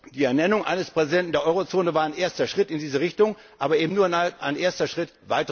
werden. Die Ernennung eines Präsidenten der Eurozone war ein erster Schritt in diese Richtung, aber eben nur ein erster